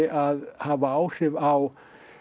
að hafa áhrif á